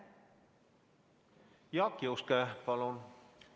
Jaak Juske, palun!